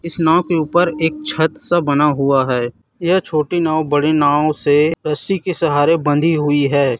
इस नाव के ऊपर एक छत सा बना हुआ है। यह छोटी नाव बड़ी नाव से रस्सी के सहारे बंधी हुई है।